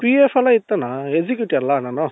P.F ಎಲ್ಲಾ ಇತ್ತಣ್ಣ executive ಅಲ್ಲ ನಾನು.